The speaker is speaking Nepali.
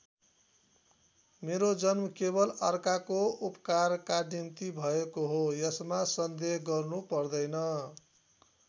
मेरो जन्म केवल अर्काको उपकारका निम्ति भएको हो यसमा संदेह गर्नु पर्दैन।